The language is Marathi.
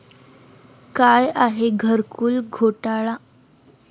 काय आहे घरकुल घोटाळा?